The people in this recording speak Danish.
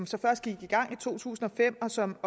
så først gik i gang i to tusind og fem og som